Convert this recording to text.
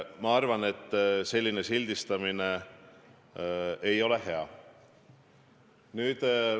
Ma arvan, et selline sildistamine ei ole hea.